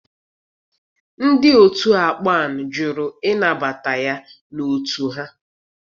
Ndị otu akpan jụrụ ịnabata ya n'otu ha.